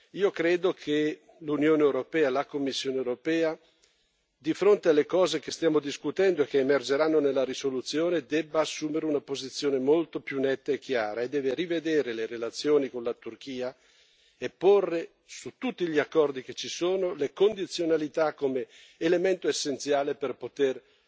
Io credo che l'Unione europea, la Commissione europea, di fronte alle cose che stiamo discutendo e che emergeranno nella risoluzione debba assumere una posizione molto più netta e chiara e debba rivedere le relazioni con la Turchia e porre, su tutti gli accordi che ci sono, le condizionalità come elemento essenziale per poter